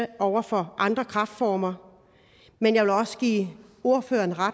det over for andre kræftformer men jeg vil også give ordføreren